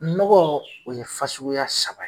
Nɔgɔ o ye fasuguya saba ye.